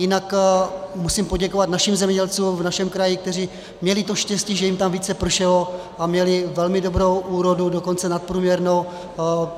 Jinak musím poděkovat našim zemědělcům v našem kraji, kteří měli to štěstí, že jim tam více pršelo, a měli velmi dobrou úrodu, dokonce nadprůměrnou.